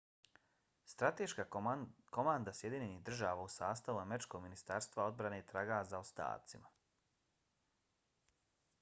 strateška komanda sjedinjenih država u sastavu američkog ministarstva odbrane traga za ostacima